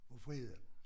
Og fredag